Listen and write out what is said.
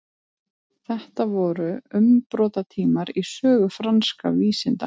þetta voru umbrotatímar í sögu franskra vísinda